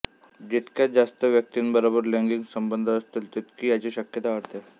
जितक्या जास्त व्यक्तींबरोबर लैंगिक संबंध असतील तितकी याची शक्यता वाढते